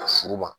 Furu ma